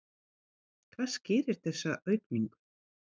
Hvað skýrir þessa aukningu?